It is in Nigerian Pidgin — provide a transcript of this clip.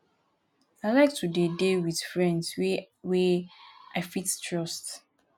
i like to dey dey wit friends wey wey i fit trust.